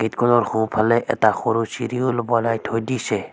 Gate খনৰ সোঁ ফালে এটা সৰু চিৰিও বনাই থৈ দিছে।